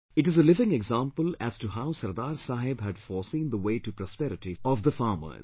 It is a living example as to how Sardar Saheb had foreseen the way to prosperity of the farmers